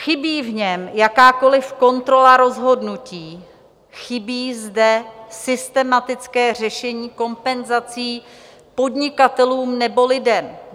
Chybí v něm jakákoliv kontrola rozhodnutí, chybí zde systematické řešení kompenzací podnikatelům nebo lidem.